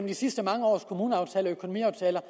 de sidste mange års kommuneaftaler økonomiaftaler